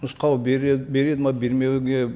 нұсқау береді ме бермеуге